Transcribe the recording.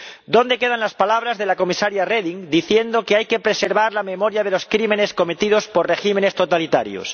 ¿Dónde quedan las palabras de la Comisaria Reding diciendo que hay que preservar la memoria de los crímenes cometidos por regímenes totalitarios?